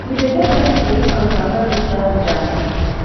you dey get any solution to avoid dis traffic jam